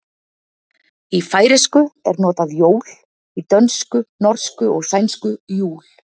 Í færeysku er notað jól, í dönsku, norsku og sænsku jul.